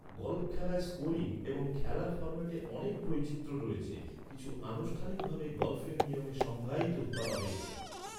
Golf খেলায় scoring এবং খেলার ফর্ম্যাটে অনেক বৈচিত্র্য রয়েছে, কিছু আনুষ্ঠানিকভাবে গল্ফের নিয়মে সংজ্ঞায়িত করা হয়েছে।